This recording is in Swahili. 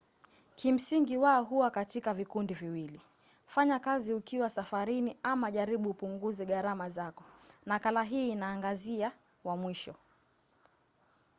kimsingi wao huwa katika vikundi viwili: fanya kazi ukiwa safarini ama jaribu upunguze gharama zako. nakala hii inaangazia wa mwisho